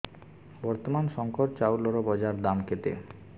ବର୍ତ୍ତମାନ ଶଙ୍କର ଚାଉଳର ବଜାର ଦାମ୍ କେତେ